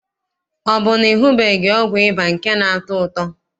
Ọ bụ na ị hụbeghị ọgwụ ịba nke na-atọ ụtọ?